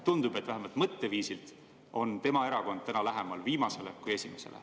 Tundub, et vähemalt mõtteviisilt on tema erakond täna lähemal viimasele kui esimesele.